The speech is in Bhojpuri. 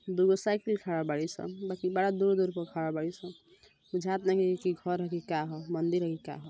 दू गो साइकिल खड़ा बाड़ी सन बाकी बड़ा दूर-दूर पे खड़ा बाड़ी सन। बुझात नइखे कि घर ह कि का ह मंदिर ह कि का ह।